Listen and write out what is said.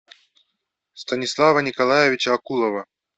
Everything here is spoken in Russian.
станислава николаевича акулова